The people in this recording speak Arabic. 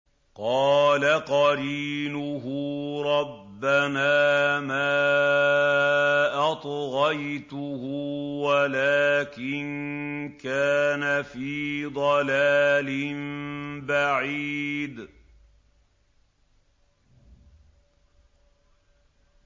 ۞ قَالَ قَرِينُهُ رَبَّنَا مَا أَطْغَيْتُهُ وَلَٰكِن كَانَ فِي ضَلَالٍ بَعِيدٍ